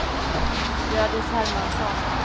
Hjördis Hermansson